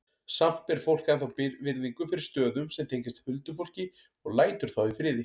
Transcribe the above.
Samt ber fólk ennþá virðingu fyrir stöðum sem tengjast huldufólki og lætur þá í friði.